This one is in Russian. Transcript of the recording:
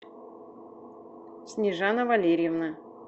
снежана валерьевна